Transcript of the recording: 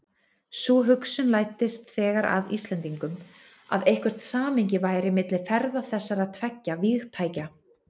Sú hugsun læddist þegar að Íslendingum, að eitthvert samhengi væri milli ferða þessara tveggja vígtækja.